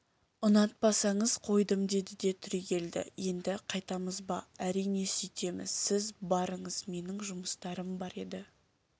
ұнатпасаңыз қойдым деді де түрегелді енді қайтамыз ба әрине сүйтеміз сіз барыңыз менің жұмыстарым бар еді